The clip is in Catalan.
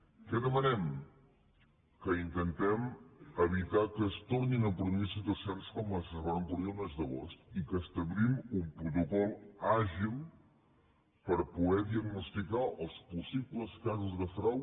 què demanem que intentem evitar que es tornin a produir situacions com les que es varen produir el mes d’agost i que establim un protocol àgil per poder diagnosticar els possibles casos de frau